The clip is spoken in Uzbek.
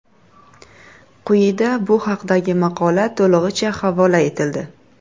Quyida bu haqdagi maqola to‘lig‘icha havola etildi.